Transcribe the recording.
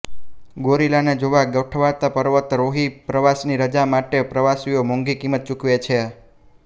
ગોરિલાને જોવા ગોઠવાતા પર્વતા રોહી પ્રવાસની રજા માટે પ્રવાસીઓ મોંઘી કિંમત ચુકવે છે